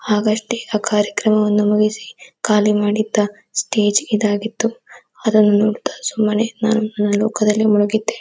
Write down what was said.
ಆಗ್ ಅಷ್ಟೇ ಆ ಕಾರ್ಯಕ್ರಮವನ್ನು ಮುಗಿಸಿ ಖಾಲಿ ಮಾಡಿದ್ದ ಸ್ಟೇಜ್ ಇದು ಆಗಿತ್ತು ಅದನ್ನು ನೋಡುತ್ತಾ ಸುಮ್ಮನೆ ನಾನು ನನ್ನ ಲೋಕದಲ್ಲಿ ಮುಳುಗಿದ್ದೆ.